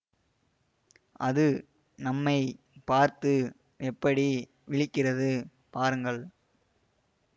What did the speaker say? அது நம்மை பார்த்து எப்படி விழிக்கிறது பாருங்கள்